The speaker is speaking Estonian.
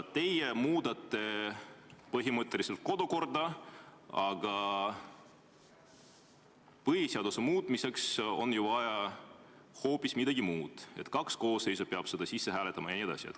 " Teie muudate põhimõtteliselt kodukorda, aga põhiseaduse muutmiseks on ju vaja hoopis midagi muud: kaks koosseisu peab selle sisse hääletama jne.